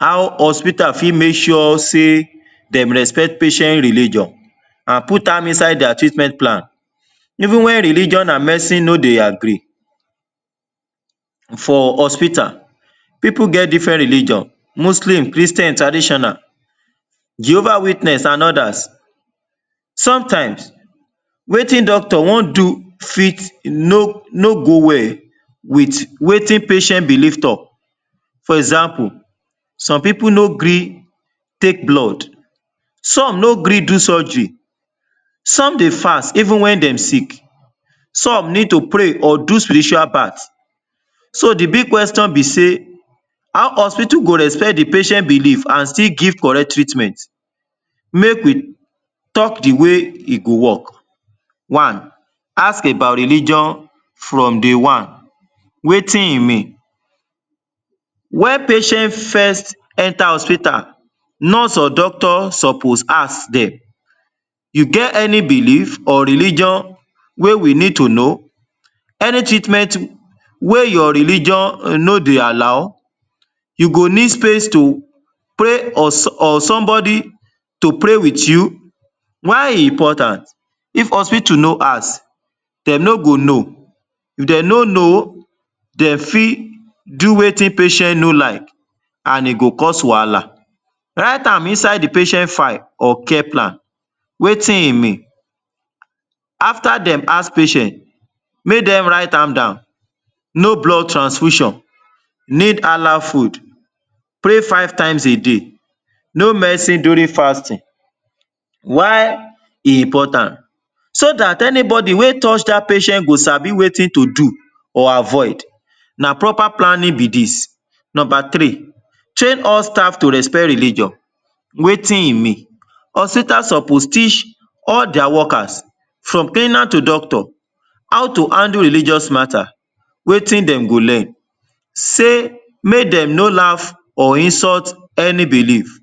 How hospital fit make sure say dem respect patient religion and put am inside their treatment plan even wen religion and medicine no dey agree? For hospital, people get different religion mostly in Christian and traditional, Jehovah witness and others. Sometimes wetin doctor wan do fit no no go well wit wetin patient believe talk. For example, some people no gree take blood. Some no gree do surgery. Some dey fast even wen dem sick. Some need to pray or do spiritual bath. So the big question be say, “how hospital go respect the patient belief and still give correct treatment”? Make we talk the way e go work. One, ask about religion from day one. Wetin e mean? Wen patient first enter hospital nurse and doctor suppose ask dem, “you get any belief or religion wey we need to know? Any treatment wey your religion no dey allow? You go need space to pray or? somebody to pray wit you?” Why e important? If hospital no ask, dem no go know. If dem no know, dey fit do wetin patient no like and e go cause wahala. Write am inside the patient file or care plan. Wetin e mean? After dem ask patient make dem write am down, “no blood transfusion, need? food, pray five times a day, no medicine during fasting”. Why e important? So dat anybody wey touch dat patient go sabi wetin to do or avoid. Na proper planning be dis. Number three, tell all staff to respect religion. Wetin e mean? Hospitals suppose teach all their workers from cleaner to doctor how to handle religious matter. Wetin dem go learn? Say make dem no laugh or insult any belief.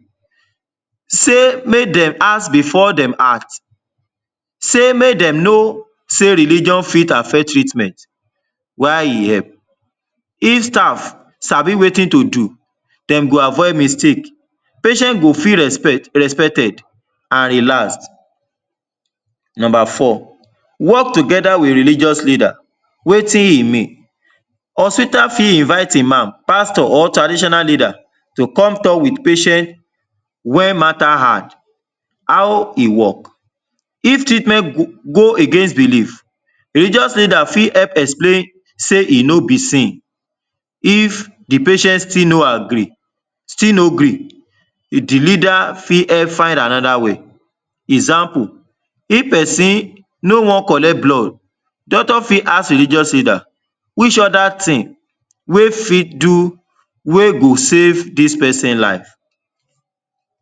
Say make dem ask before dem act. Say make dem no sey religion fit affect treatment. Why e help? If staff sabi wetin to do, dem go avoid mistake. Patient go fit respect respected and relax. Number four, work together wit religious leaders. Wetin e mean? Hospital fit invite Iman, pastor or traditional leader to come talk wit patient wey matter hard. How e work? If treatment go go against belief, religious leader fit explain say e no be sin. If the patient still no agree, still no gree, the leader fit help find another way. Example, if person no wan collect blood doctor fit ask religious leaders, “which other thing wey fit do, wey go save dis person life?”.